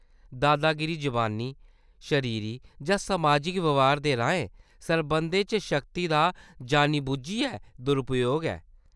दादागिरी जबानी, शरीरी जां समाजिक ब्यहार दे राहें संबंधें च शक्ति दा जानी-बुज्झियै दुरुपयोग ऐ।